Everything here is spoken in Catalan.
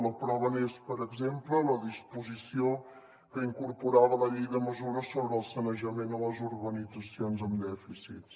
la prova n’és per exemple la disposició que incorporava la llei de mesures sobre el sanejament a les urbanitzacions amb dèficits